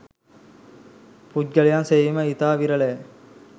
පුද්ගලයන් සෙවීම ඉතා විරලය.